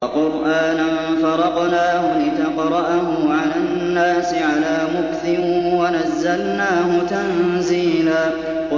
وَقُرْآنًا فَرَقْنَاهُ لِتَقْرَأَهُ عَلَى النَّاسِ عَلَىٰ مُكْثٍ وَنَزَّلْنَاهُ تَنزِيلًا